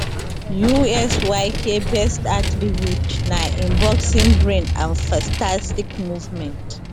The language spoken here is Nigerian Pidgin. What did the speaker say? usyk best attribute na im boxing brain and fantastic movement